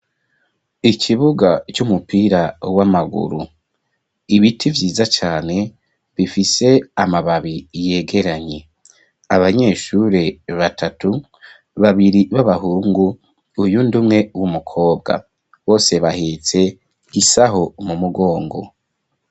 Ikibuga c'umupira w'amaguru ibiti vyiza cane bifise amababi yegeranye abanyeshure batatu, babiri n'abahungu uyundi umwe n'umukobwa bose bahetse igisaho mu mugongo.